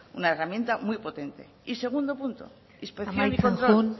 una herramienta muy potente y segundo punto inspección y control amaitzen joan